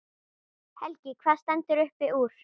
Helgi: Hvað stendur upp úr?